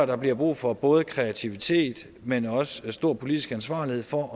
der bliver brug for både kreativitet men også stor politisk ansvarlighed for